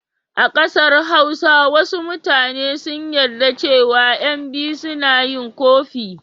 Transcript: A ƙasar Hausa wasu mutane sun yarda cewa ƴan biyu suna yi ƙofi.